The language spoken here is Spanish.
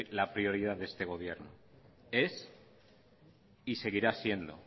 la prioridad de este gobierno es y seguirá siendo